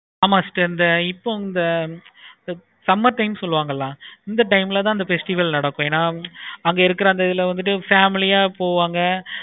sister இப்போ இந்த summer time சொல்லுவாங்களா summer time ல தான் அந்த festival நடக்கும். அங்க இருக்க அந்த இதுல family யா போவாங்க